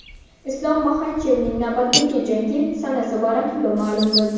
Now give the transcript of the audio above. Islom Maxachevning navbatdagi jangi sanasi va raqibi ma’lum bo‘ldi.